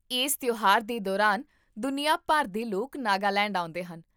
ਇਸ ਤਿਉਹਾਰ ਦੇ ਦੌਰਾਨ ਦੁਨੀਆ ਭਰ ਦੇ ਲੋਕ ਨਾਗਾਲੈਂਡ ਆਉਂਦੇ ਹਨ